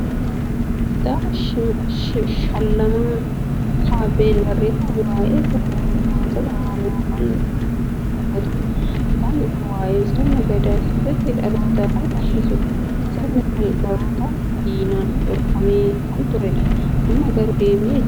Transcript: Kitaaba Shallamaa Kabbeen barreeffame, waa'ee " Sabboonummaa saba Oromoo" kan dubbatudha. Kitaabni kun waa'ee sirna gadaa sirriitti dhaloota kan barsiisudha. Sirni kun barootaaf diinaan dhorkamee kan turedha. Amma garuu deebi'ee jira.